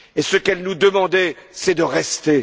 Et ce qu'elles nous demandaient, c'est de rester.